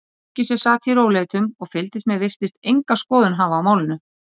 Fólkið sem sat í rólegheitum og fylgdist með virtist enga skoðun hafa á málinu.